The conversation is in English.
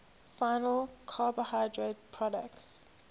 final carbohydrate products